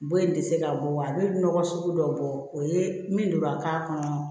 Bon in tɛ se ka bɔ a bɛ nɔgɔ sugu dɔw bɔ o ye min don ka k'a kɔnɔ